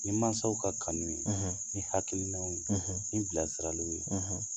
Ni masaw ka kanu ye ni hakilinaw ye ni bilasiraliw ye